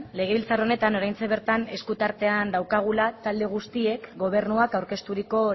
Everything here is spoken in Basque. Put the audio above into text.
legebiltzar honetan oraintxe bertan esku artean daukagula talde guztiek gobernuak aurkezturiko